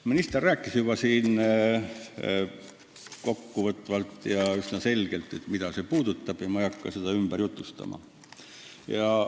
Minister rääkis täna juba kokkuvõtvalt ja üsna selgelt, mida eelnõu puudutab, ja ma ei hakka seda ümber jutustama.